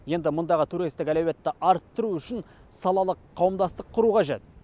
енді мұндағы туристік әлеуетті арттыру үшін салалық қауымдастық құру қажет